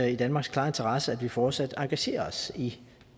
i danmarks klare interesse at vi fortsat engagerer os i